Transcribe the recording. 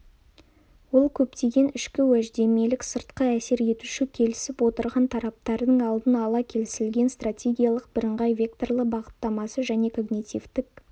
ол көптеген ішкі-уәждемелік сыртқы-әсер етуші келісіп отырған тараптардың алдын ала келісілген стратегиялық бірыңғай векторлы бағыттамасы және когнитивтік